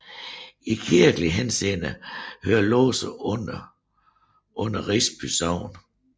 I kirkelig henseende hører Lose under under Risby Sogn